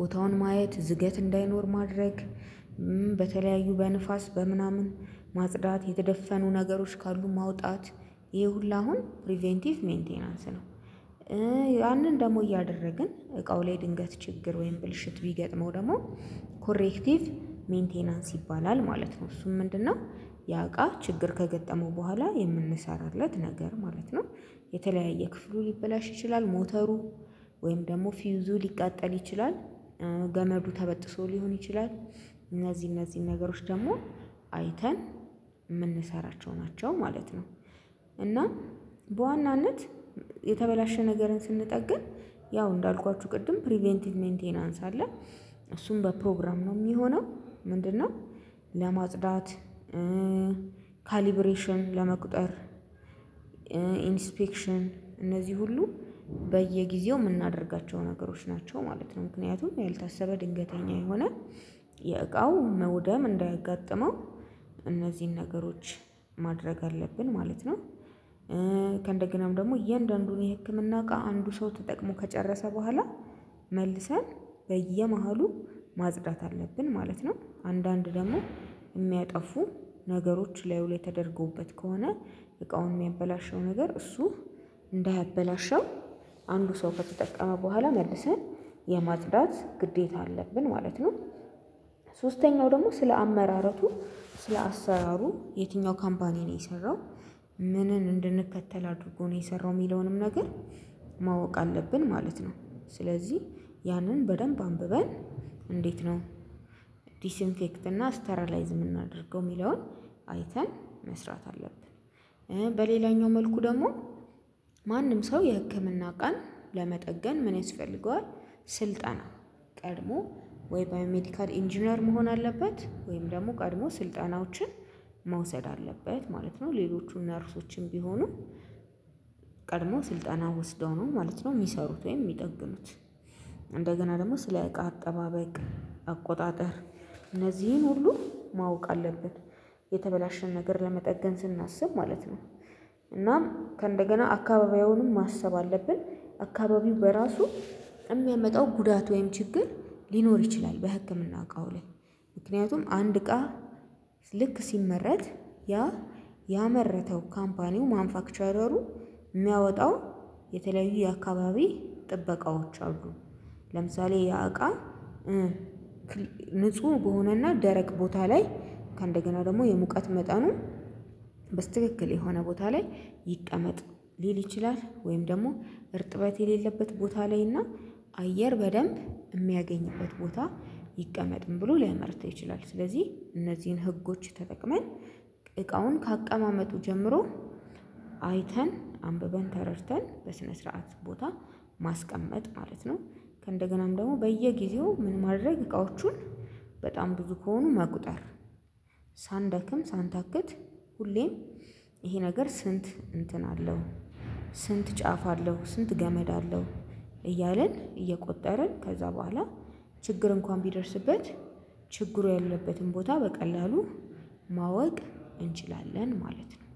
ቦታውን ማየት ዝገት እንዳይኖር ማድረግ። በተለያዩ በንፋስ በምናምን ማጽዳት የተደፈኑ ነገሮች ካሉ ማውጣት። ይሄ ሁሉ አሁን ፕሪቬንቲቭ ሜንቴንንስ ነው። ያንን ደግሞ እያደረግን እቃው ላይ ድንገት ችግር ወይም ብልሽት ቢገጥመው ደግሞ ኮሬክቲቭ ሜንቴናንስ ይባላል ማለት ነው። እሱም ምንድነው? ያቃ ችግር ከገጠመው በኋላ የምንሰራለት ነገር ማለት ነው። የተለያየ ክፍሉ ሊበላሽ ይችላል። ሞተሩ ወይም ደግሞ ፊውዙ ሊቃጠል ይችላል። ገመዱ ተበጥሶ ሊሆን ይችላል። እነዚህ እነዚህን ነገሮች ደግሞ አይተን የምንሰራቸው ናቸው ማለት ነው። እና በዋናነት የተበላሸ ነገርን ስንጠግን ያው እንዳልኳችሁ ቅድም ፕሪቬንቲቭ ሜንቴን አለ። እሱም በፕሮግራም ነው የሚሆነው። ምንድነው? ለማጽዳት ካሊብሬሽን ለመቁጠር ኢንስፔክሽን እነዚህ ሁሉ በየጊዜው የምናደርጋቸው ነገሮች ናቸው ማለት ነው። ምክንያቱም ያልታሰበ ድንገተኛ የሆነ የእቃው መውደም እንዳያጋጥመው። እነዚህን ነገሮች ማድረግ አለብን ማለት ነው። ከእንደገናም ደግሞ እየአንዳንዱን የህክምና እቃ አንዱ ሰው ተጠቅሞ ከጨረሰ በኋላ መልሰን በየመሃሉ ማጽዳት አለብን ማለት ነው። አንዳንድ ደግሞ የሚያጠፉ ነገሮች ላዩ ላይ ተደርጎበት ከሆነ እቃውን የሚያበላሸው ነገር እሱ እንዳያበላሸው አንዱ ሰው ከተጠቀመ በኋላ መልሰን የማጥዳት ግዴታ አለብን ማለት ነው። ሶስተኛው ደግሞ ስለ አመራረቱ ስለ አሰራሩ የትኛው ካምፓኒ ነው የሰራው? ምንን እንድንከተል አድርጎ ነው የሰራው የሚለውንም ነገር ማወቅ አለብን ማለት ነው። ስለዚህ ያንን በደንብ አንብበን እንዴት ነው? ዲስኢንፌክት እና ስተራላይዝ የምናደርገው የሚለውን አይተን መስራት አለብን። በሌላኛው መልኩ ደግሞ ማንም ሰው የህክምና እቃን ለመጠገን ምን ያስፈልገዋል? ስልጠና ቀድሞ ወይ ባዮሜዲካል ኢንጂነር መሆን አለበት ወይም ደግሞ ቀድሞ ስልጠናዎችን መውሰድ አለበት ማለት ነው። ሌሎቹን ነርሶችን ቢሆኑ ቀድሞ ስልጠና ወስደው ነው ማለት ነው የሚሰሩት ወይም የሚጠግኑት። እንደገና ደግሞ ስለ አቃ አጠባበቅ አቆጣጠር እነዚህን ሁሉ ማወቅ አለብን። የተበላሸ ነገር ለመጠገን ስናስብ ማለት ነው። እናም ከእንደገና አካባቢውንም ማሰብ አለብን አካባቢው በራሱ የሚያመጣው ጉዳት ወይም ችግር ሊኖር ይችላል። በህክምና እቃው ላይ ምክንያቱም አንድ እቃ ልክ ሲመረት ያ ያመረተው ካምፓኒው ማንፋክቸረሩ የሚያወጣው የተለያዩ የአካባቢ ጥበቃዎች አሉ። ለምሳሌ ያ እቃ ንጹህ በሆነና ደረቅ ቦታ ላይ ከእንደገና ደግሞ የሙቀት መጠኑ በትክክል የሆነ ቦታ ላይ ይቀመጥ ሊል ይችላል ወይም ደግሞ እርጥበት የሌለበት ቦታ ላይና አየር በደንብ የሚያገኝበት ቦታ ይቀመጥም ብሎ ሊያመርት ይችላል። ስለዚህ እነዚህን ህጎች ተጠቅመን እቃውን ከአቀማመጡ ጀምሮ አይተን አንብበን ተረድተን በስነ ስርዓት ቦታ ማስቀመጥ ማለት ነው። ከእንደገናም ደግሞ በየጊዜው ምን ማድረግ እቃዎቹን በጣም ብዙ ከሆኑ መቁጠር። ሳንደክም ሳንታክት ሁሌም ይሄ ነገር ስንት እንትን አለው? ስንት ጫፍ አለው ስንት ገመድ አለው? እያልን እየቆጠርን ከዛ በኋላ ችግር እንኳን ቢደርስበት ችግሩ ያለበትን ቦታ በቀላሉ ማወቅ እንችላለን ማለት ነው።